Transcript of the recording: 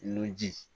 Nunji